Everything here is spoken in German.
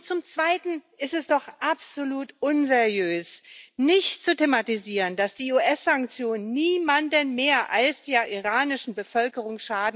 Zum Zweiten ist es doch absolut unseriös, nicht zu thematisieren, dass die US Sanktionen niemandem mehr schaden als der iranischen Bevölkerung.